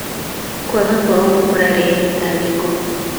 Kwaga kwa ũma kũrarehe mĩtangĩko.